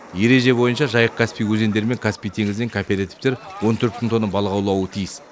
ереже бойынша жайық каспий өзендері мен каспий теңізінен коопертивтер он төрт мың тонна балық аулауы тиіс